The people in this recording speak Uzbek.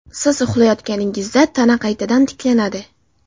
Siz uxlayotganingizda tana qaytadan tiklanadi.